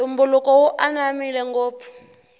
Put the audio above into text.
ntumbuluko wu ananmile ngopfu